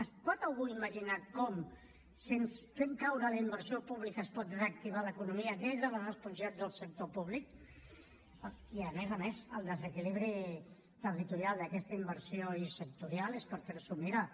es pot algú imaginar com fent caure la inversió pública es pot reactivar l’economia des de la responsabilitat del sector públic i a més a més el desequilibri territorial d’aquesta inversió i sectorial és per fer s’ho mirar